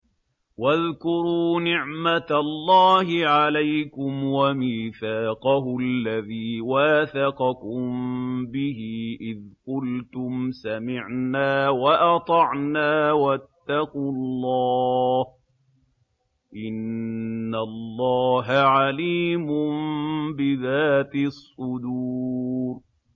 وَاذْكُرُوا نِعْمَةَ اللَّهِ عَلَيْكُمْ وَمِيثَاقَهُ الَّذِي وَاثَقَكُم بِهِ إِذْ قُلْتُمْ سَمِعْنَا وَأَطَعْنَا ۖ وَاتَّقُوا اللَّهَ ۚ إِنَّ اللَّهَ عَلِيمٌ بِذَاتِ الصُّدُورِ